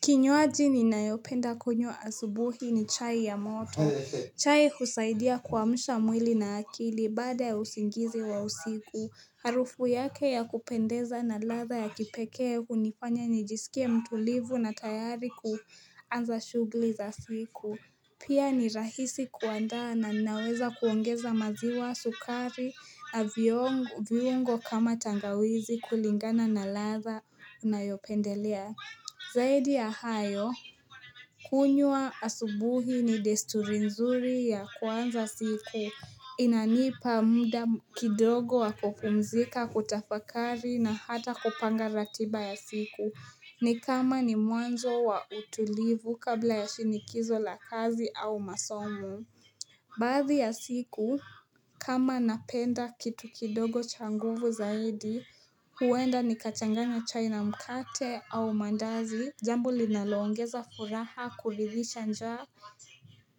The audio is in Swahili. Kinywaji ninayopenda kunywa asubuhi ni chai ya moto. Chai husaidia kuamsha mwili na akili baada ya usingizi wa usiku. Harufu yake ya kupendeza na latha ya kipekee hunifanya nijisikia mtulivu na tayari kuanza shughuli za siku. Pia ni rahisi kuanda na ninaweza kuongeza maziwa sukari na viungo kama tangawizi kulingana na ladha ninayopendelea. Zaidi ya hayo, kunywa asubuhi ni desturi nzuri ya kuanza siku, inanipa muda kidogo wakupumzika kutafakari na hata kupanga ratiba ya siku, ni kama ni mwanzo wa utulivu kabla ya shinikizo la kazi au masomo. Baadhi ya siku, kama napenda kitu kidogo cha nguvu zaidi, huenda nikachanganya chai na mkate au mandazi. Jambo linaloongeza furaha kulilisha njaa